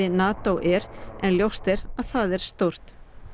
NATO en ljóst er að það er stórt